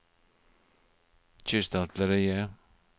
kystartilleriet